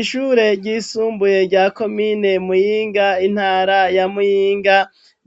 Ishure ryisumbuye rya komine mwinga intara ya mwinga